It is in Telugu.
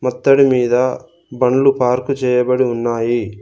ఒత్తడి మీద బండ్లు పార్కు చేయబడి ఉన్నాయి.